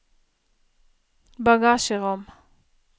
bagasjerom